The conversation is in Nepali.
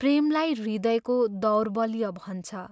प्रेमलाई हृदयको दौर्बल्य भन्छ।